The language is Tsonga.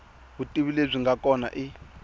vutivi lebyi nga kona i